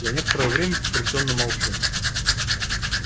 я некоторое время потрясённо молчу